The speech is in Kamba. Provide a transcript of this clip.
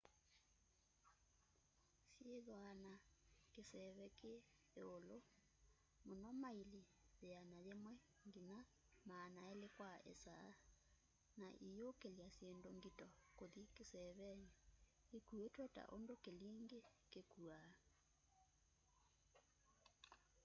syithwaa na kivese ki iulu muno maili 100-200 kwa isaa na iyukilya syindu ngito kuthi kiseeveni ikuitwe ta undu kilingi kikuaa